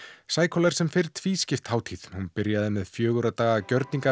cycle er sem fyrr tvískipt hátíð hún byrjaði með fjögurra daga